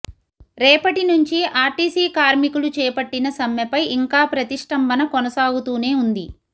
రేపటి నుంచి ఆర్టీసీ కార్మికులు చేపట్టిన సమ్మెపై ఇంకా ప్రతిష్టంభన కొనసాగుతూనే వుంది